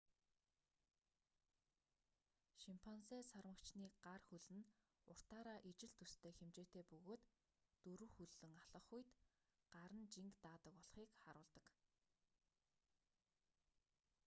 шимпанзе сармагчны гар хөл нь уртаараа ижил төстэй хэмжээтэй бөгөөд дөрвөн хөллөн алхах үед нь гар нь жинг даадаг болохыг харуулдаг